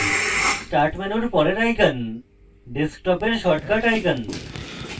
start menu পরের icon ডেস্কটপের shortcut icon